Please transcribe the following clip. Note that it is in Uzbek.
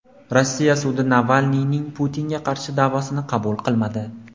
Rossiya sudi Navalniyning Putinga qarshi da’vosini qabul qilmadi.